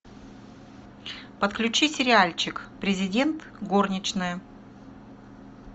подключи сериальчик президент горничная